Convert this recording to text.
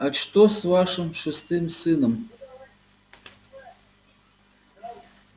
а что с вашим шестым сыном